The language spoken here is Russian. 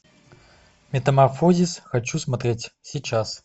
метаморфозис хочу смотреть сейчас